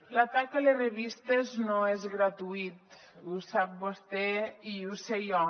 l’atac a les revistes no és gratuït ho sap vostè i ho sé jo